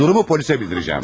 Durumu polisə bildirecəm.